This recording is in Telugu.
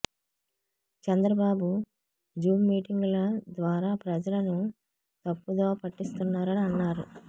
చంద్రబాబు జూమ్ మీటింగ్ ల ద్వారా ప్రజలను తప్పుదోవ పట్టిస్తున్నారు అని అన్నారు